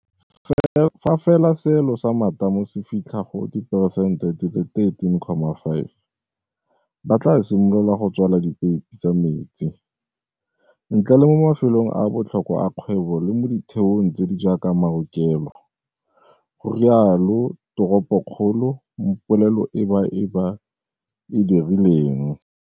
Fa fela seelo sa matamo se fitlha go diperesente di le 13.5, ba tla simolola go tswala dipeipe tsa metsi, ntle le mo mafelong a a botlhokwa a kgwebo le mo ditheong tse di jaaka maokelo, go rialo toropokgolo mo polelo e ba e ba e dirileng.